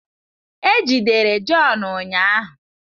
E jidere John ụnyahụ